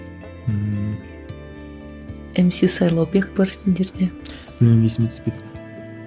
ммм мс сайлаубек бар сендерде білмеймін есіме түспейді